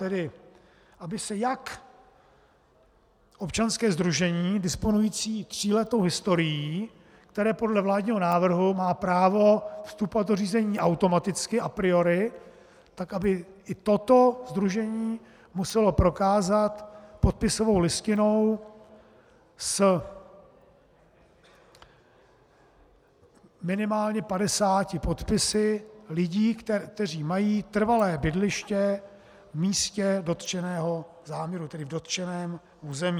Tedy aby se jak občanské sdružení disponující tříletou historií, které podle vládního návrhu má právo vstupovat do řízení automaticky a priori, tak aby i toto sdružení muselo prokázat podpisovou listinou s minimálně 50 podpisy lidí, kteří mají trvalé bydliště v místě dotčeného záměru, tedy v dotčeném území.